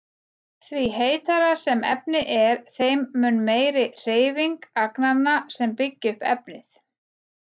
Því heitara sem efni er þeim mun meiri er hreyfing agnanna sem byggja upp efnið.